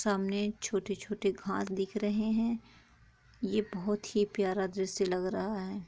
सामने छोटी-छोटी घास दिख रहे है ये बहोत ही प्यारा दृश्य लग रहा है।